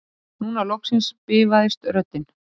Núna loksins bifaðist röddin